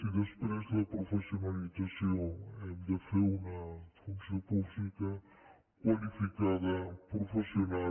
i després la professionalització hem de fer una funció pública qualificada professional